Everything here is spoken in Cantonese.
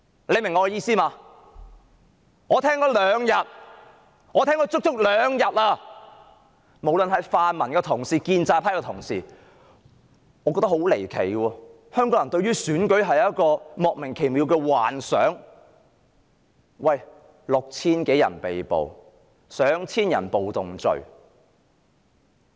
我足足聽了兩天的辯論發言，無論是泛民同事或建制派同事，都對選舉有莫名其妙的幻想，我感到十分離奇。